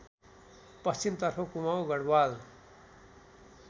पश्चिमतर्फ कुमाउ गढवाल